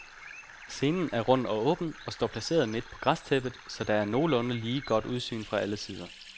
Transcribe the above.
Scenen er rund og åben og står placeret midt på græstæppet, så der er nogenlunde lige godt udsyn fra alle sider.